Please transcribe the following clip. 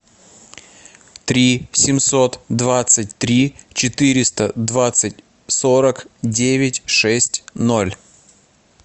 три семьсот двадцать три четыреста двадцать сорок девять шесть ноль